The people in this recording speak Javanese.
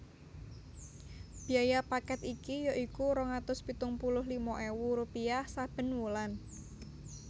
Biaya paket iki ya iku rong atus pitung puluh lima ewu rupiah saben wulan